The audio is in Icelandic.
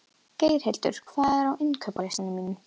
Geirhildur, hvað er á innkaupalistanum mínum?